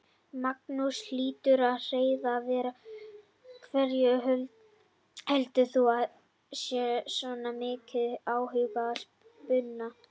Magnús Hlynur Hreiðarsson: Af hverju heldur þú að sé svona mikill áhugi á spuna?